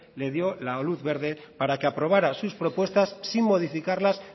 le dio la luz verde para que aprobara sus propuestas sin modificarlas